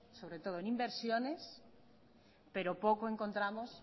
sobre todo en inversiones pero poco encontramos